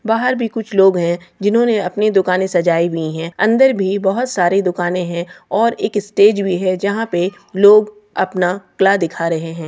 बाहर भी कुछ लोग है जिन्होंने अपनी दुकाने सजाई हुई है अंदर भी बहुत सारी दुकाने है और एक स्टेज भी है जहां पे लोग अपना कला दिखा रहे--